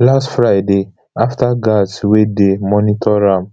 last friday afta guards wey dey monitor am